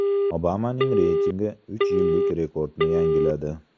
Obamaning reytingi uch yillik rekordni yangiladi.